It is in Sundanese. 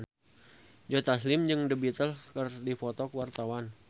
Joe Taslim jeung The Beatles keur dipoto ku wartawan